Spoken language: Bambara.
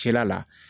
Cɛla la